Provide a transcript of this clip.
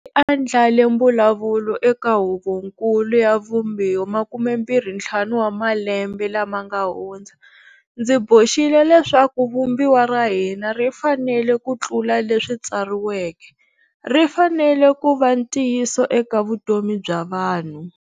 Andlale mbu lavulo eka Huvonkulu ya Vumbiwa 25 wa malembe lama nga hundza, ndzi boxile leswaku Vumbiwa ra hina ri fanele ku tlula leswi tsari weke, ri fanele ku va ntiyiso eka vutomi bya vanhu.